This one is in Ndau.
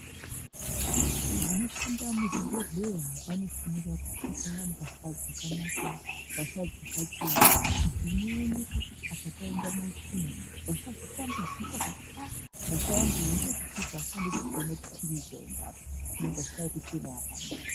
Vanhu vanoshanda muzvibhedhleya vanofanira kupfeka mbahla dzakanaka, mbahla dzakachena, dzinooneka kuti apa paenda matsvina. Vasazotambudzika kuti aaa, mbahla yangu iyi ngeyekusvipa asi andisi kuona kuti chiini chaenda apa. Hino mbahla yekuchena yakanaka.